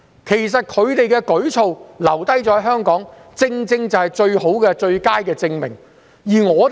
其實，它們留在香港的舉措正好是最佳證明。